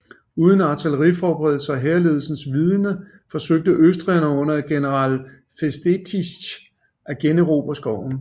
Uden artilleriforberedelse og hærledelsens vidende forsøgte østrigerne under grev Festetics at generobre skoven